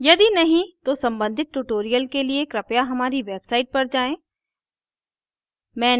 यदि नहीं तो सम्बंधित tutorials के लिए कृपया हमारी website पर जाएँ